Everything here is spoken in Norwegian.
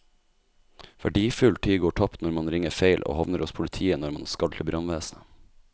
Verdifull tid går tapt når man ringer feil og havner hos politiet når man skal til brannvesenet.